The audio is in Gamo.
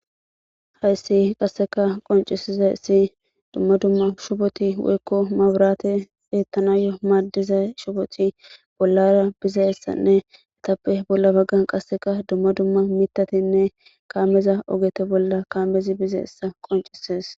hayssi qasseka qoncisiza issi dumma dumma shupoti woykko mabirate eettanayo maaddiza shuboti bollara bizaessanne etappe bolla baggan qasseka dumma dumma mitatinne kaameza ogete bolla kaamezi bizeessa qoncisees